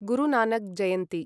गुरु Nanak जयन्ति